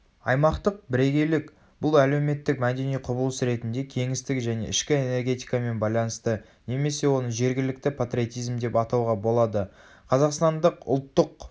аймақтық бірегейлік бұл әлеуметтік мәдени құбылыс ретінде кеңістік және ішкі энергетикамен байланысты немесе оны жергілікті патриотизм деп атауға болады.қазақстандық ұлттық